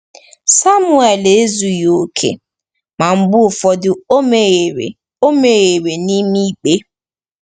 Samuel ezughị okè, ma mgbe ụfọdụ o mehiere o mehiere n’ime ikpe.